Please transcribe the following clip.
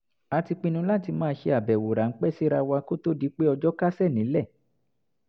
a ti pinnu láti máa ṣe àbẹ̀wò ráńpẹ́ síra wa kó tó di pé ọjọ́ kásẹ̀ nílẹ̀